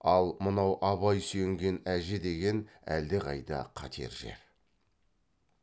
ал мынау абай сүйенген әже деген әлдеқайда қатер жер